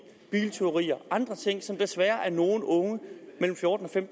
biltyverier og andre ting som der desværre er nogle unge på fjorten til